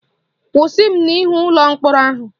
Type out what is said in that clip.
Kwụsị m n'ihu ụlọ mkpọrọ ahụ!